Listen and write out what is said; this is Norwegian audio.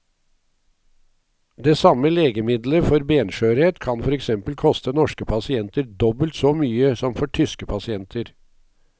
Det samme legemiddelet for benskjørhet kan for eksempel koste norske pasienter dobbelt så mye som for tyske pasienter.